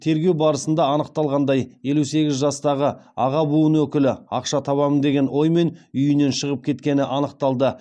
тергеу барысында анықталғандай елу сегіз жастағы аға буын өкілі ақша табамын деген оймен үйінен шығып кеткені анықталды